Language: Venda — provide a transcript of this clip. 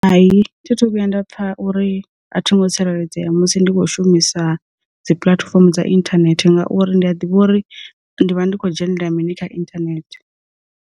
Hai, thi thu vhuya nda pfha uri a thi ngo tsireledzea musi ndi kho shumisa dzi puḽatifomo dza inthanethe ngauri ndi a ḓivha uri ndi vha ndi khou dzhenelela mini kha inthanethe.